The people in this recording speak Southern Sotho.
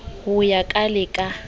ho ya ka le ka